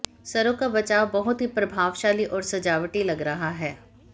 सरो का बचाव बहुत ही प्रभावशाली और सजावटी लग रहा है